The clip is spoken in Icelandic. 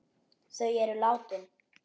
Þau eru látin.